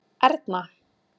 Erna